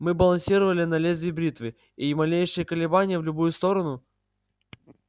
мы балансировали на лезвии бритвы и малейшее колебание в любую сторону